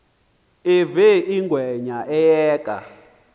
uve ingwenya iyeka